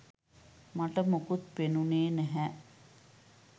මට මොකුත් පෙනුනේ නැහැ.